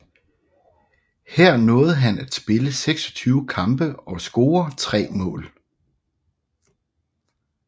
Her nåede han at spille 26 kampe og score 3 mål